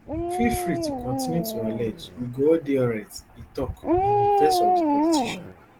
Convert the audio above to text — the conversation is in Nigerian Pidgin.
feel free to kontinu to allege we go all dey alright e tok in defence of di politician